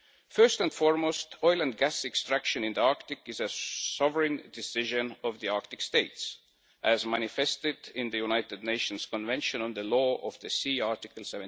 First and foremost, oil and gas extraction in the Arctic is a sovereign decision of the Arctic states, as manifested in the United Nations Convention on the Law of the Sea, Article